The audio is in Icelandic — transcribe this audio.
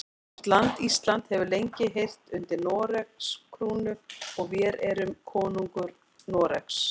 Vort land Ísland hefur lengi heyrt undir Noregs krúnu og vér erum konungur Noregs.